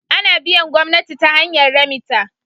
Ana biyan gomnati ta hanyar remita